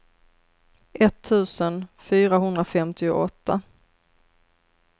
etttusen fyrahundrafemtioåtta